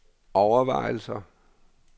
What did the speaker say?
overvejelser